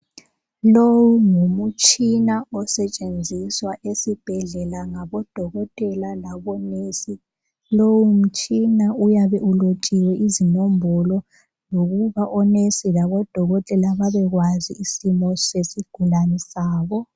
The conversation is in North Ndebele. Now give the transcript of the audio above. Lowu ngumtshina osetshenziswe esibhedlela ngabodokotela labongikazi lowu mtshina uyabe ulotshiwe izinombolo ukuze odokotela labomongikazi babe kwazi isimo sesigulani sabo